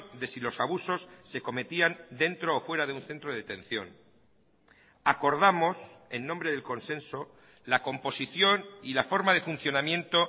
de si los abusos se cometían dentro o fuera de un centro de detención acordamos en nombre del consenso la composición y la forma de funcionamiento